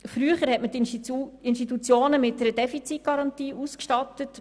Früher stattete man die Institutionen mit einer Defizitgarantie aus.